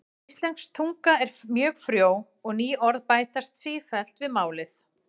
Íslensk tunga er mjög frjó og ný orð bætast sífellt við málið.